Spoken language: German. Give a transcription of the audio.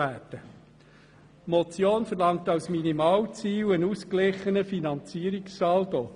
Die Motion verlangt als Minimalziel einen ausgeglichenen Finanzierungssaldo.